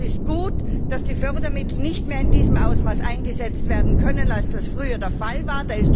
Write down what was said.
Es ist gut, dass die Fördermittel nicht mehr in dem Ausmaß eingesetzt werden können, wie das früher der Fall war.